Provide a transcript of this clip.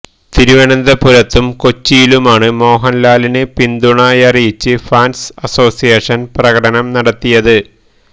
തിരുവനന്തപുരത്തും കൊച്ചിയിലുമാണ് മോഹന്ലാലിന് പിന്തുണയറിയിച്ച് ഫാന്സ് അസോസിയേഷന് പ്രകടനം നടത്തിയത്